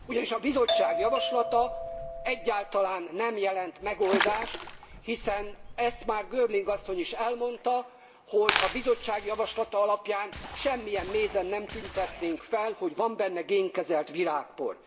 Ugyanis a Bizottság javaslata egyáltalán nem jelent megoldást, hiszen már Girling asszony is elmondta, hogy a Bizottság javaslata alapján semmilyen mézen nem tüntetnénk fel, hogy van benne génkezelt virágpor.